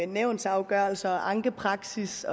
nævnsafgørelser ankepraksis